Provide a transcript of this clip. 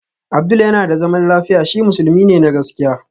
Abdul yana da zaman lafiya, shi musulmi ne na gaskiya